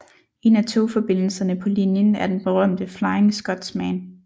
En af togforbindelserne på linjen er den berømte Flying Scotsman